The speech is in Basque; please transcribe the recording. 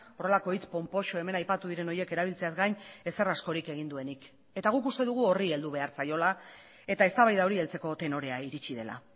horrelako hitz ponpoxo hemen aipatu diren horiek erabiltzeaz gain ezer askorik egin duenik eta guk uste dugu horri heldu behar zaiola eta eztabaida hori heltzeko tenorea iritsi dela